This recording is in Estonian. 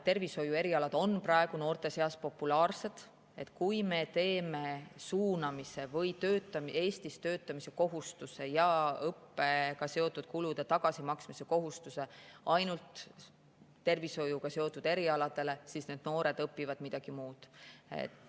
Tervishoiuerialad on praegu noorte seas populaarsed, aga kui me teeme suunamise või Eestis töötamise kohustuse ja õppega seotud kulude tagasimaksmise kohustuse ainult tervishoiuga seotud erialadel, siis noored hakkavad õppima midagi muud.